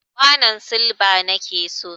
kwanon silba nake so.